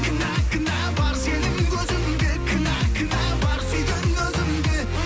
кінә кінә бар сенің көзіңде кінә кінә бар сүйген өзімде